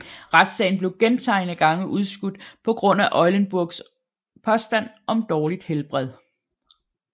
Retssagen blev gentagne gange udskudt på grund af Eulenburgs påstand om dårligt helbred